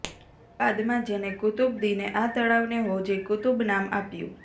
બાદમાં જેને કુત્બુદ્દીને આ તળાવને હૌજે કુતુબ નામ આપ્યું